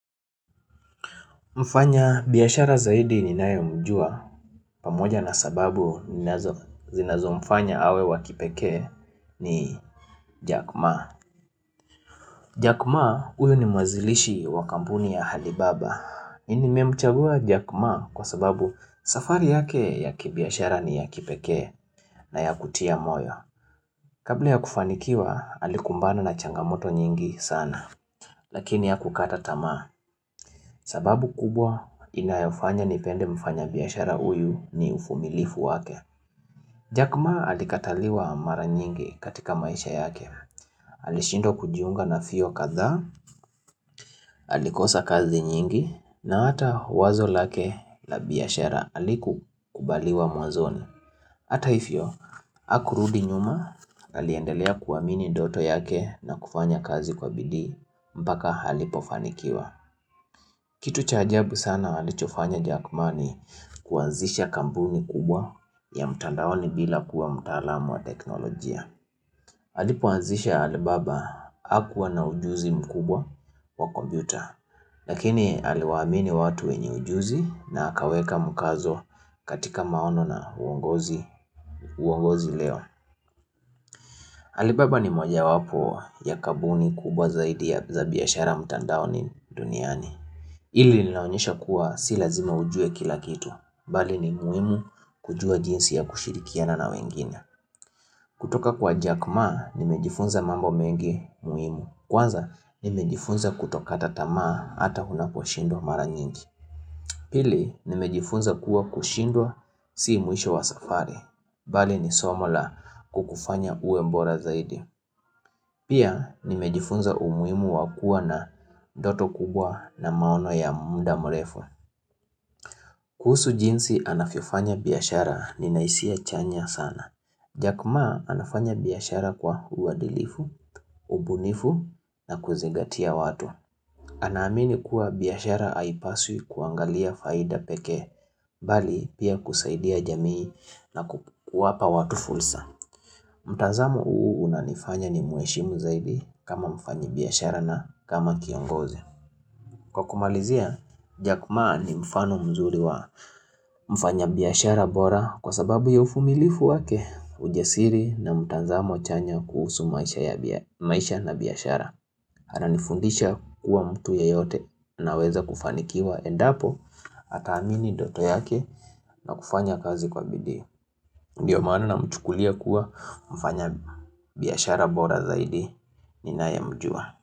Mfanya biashara zaidi ninaye mjua pamoja na sababu zinazo mfanya awe wa kipekee ni Jack ma. Jack ma huyu ni muanzilishi wa kampuni ya Alibaba. Nimemchagua Jack ma kwa sababu safari yake ya kibiashara ni ya kipekee na yakutia moyo. Kabla ya kufanikiwa alikumbana na changamoto nyingi sana. Lakini hakukata tamaa, sababu kubwa inayofanya nipende mfanya biashara huyu ni uvumilifu wake Jack Maa alikataliwa mara nyingi katika maisha yake Alishindwa kujiunga na vyuo kadhaa, alikosa kazi nyingi na hata wazo lake la biashara haliku kubaliwa mwazoni Hata hivio, hakurudi nyuma, aliendelea kuwamini ndoto yake na kufanya kazi kwa bidii mpaka alipo fanikiwa Kitu cha ajabu sana alichofanya Jack Maa ni kuanzisha kampuni kubwa ya mtandaoni bila kuwa mtaalam wa teknolojia. Alipoanzisha Alibaba hakuwa na ujuzi mkubwa wa kompyuta. Lakini aliwaamini watu wenye ujuzi na akaweka mkazo katika maono na ongozi uongozi leo. Alibaba ni moja wapo ya kampuni kubwa zaidi ya za biashara mtandaoni duniani. Hili linaonyesha kuwa si lazima ujue kila kitu, bali ni muhimu kujua jinsi ya kushirikiana na wengine. Kutoka kwa Jack Maa, nimejifunza mambo mengi muhimu, kwanza nimejifunza kutokata tamaa hata unapo shindwa mara nyingi. Pili, nimejifunza kuwa kushindwa si mwisho wa safari, bali ni somo la kukufanya uwe bora zaidi. Pia, nimejifunza umuhimu wa kuwa na ndoto kubwa na maono ya mda mrefu. Kuhusu jinsi anavyo fanya biashara nina hisia chanya sana. Jack ma anafanya biashara kwa uwadilifu, ubunifu na kuzigatia watu. Ana amini kuwa biashara haipaswi kuangalia faida pekee, bali pia kusaidia jamii na kuwapa watu fursa. Mtazamo huu unanifanya ni muheshimu zaidi kama mfanyi biashara na kama kiongozi. Kwa kumalizia, Jack Maa ni mfano mzuri wa mfanya biyashara bora kwa sababu ya uvumilivu wake ujasiri na mtazamo chanya kuhusu maisha ya maisha na biashara ananifundisha kuwa mtu yeyote anaweza kufanikiwa endapo ata amini noto yake na kufanya kazi kwa bidii Ndio maana namchukulia kuwa mfanya biashara bora zaidi ninaye mjua.